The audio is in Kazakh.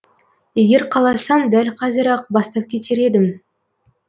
егер қаласам дәл қазір ақ бастап кетер едім